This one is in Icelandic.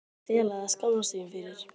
Er eitthvað að fela eða skammast sín fyrir?